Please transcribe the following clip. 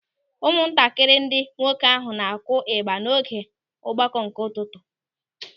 Ụmụntakịrị ndị nwoke ahụ na-akụ ịgba n'oge ọgbakọ nke ụtụtụ.